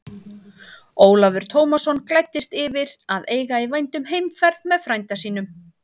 Ólafur Tómasson gladdist yfir að eiga í vændum heimferð með frænda sínum.